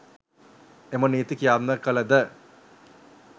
එම නීති ක්‍රියාත්මක කළ ද